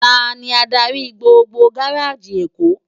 Táni ádári gbógbó gáráji Ékó?